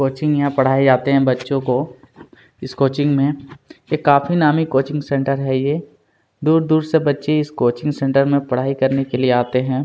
Coaching यहाँ पढ़ाई जाते हैं बच्चों को इस कोचिंग में ये काफी नामी कोचिंग सेंटर है ये दूर-दूर से बच्चे इस कोचिंग सेंटर में पढ़ाई करने के लिए आते हैं।